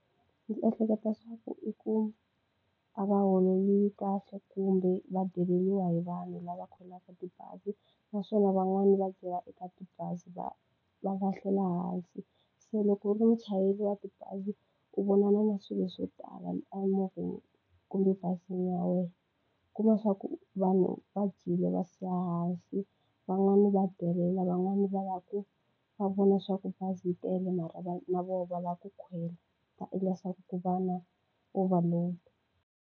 Ndzi ehleketa swa ku i ku a va holeriwi kahle kumbe va deleriwa hi vanhu lava kwelaka tibazi, naswona van'wani va byela eka tibazi va va lahlela ehansi. Se loko u ri muchayeri wa tibazi, u vonana na swilo swo tala emovheni kumbe bazini ya wena. U kuma swa ku vanhu va dyile va siya hansi, van'wani va delela, van'wani va lava ku va vona leswaku bazi yi tele mara na vona va lava ku khwela, va endla leswaku va na overload.